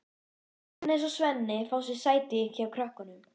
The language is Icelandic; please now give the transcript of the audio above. Agnes og Svenni fá sér sæti hjá krökkunum.